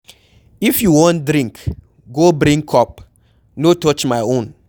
If you wan drink go brink cup, no touch my own.